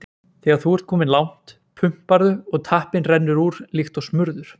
Þegar þú ert kominn langt, pumparðu og tappinn rennur úr líkt og smurður.